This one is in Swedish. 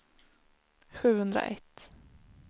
sjuhundraett